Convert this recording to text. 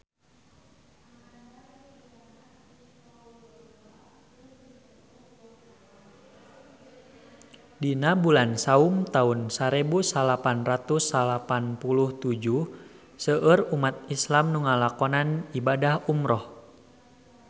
Dina bulan Saum taun sarebu salapan ratus salapan puluh tujuh seueur umat islam nu ngalakonan ibadah umrah